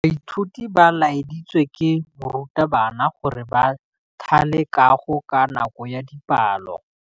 Baithuti ba laeditswe ke morutabana gore ba thale kagô ka nako ya dipalô.